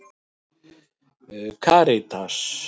Karítas